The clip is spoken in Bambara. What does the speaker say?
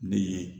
Ne ye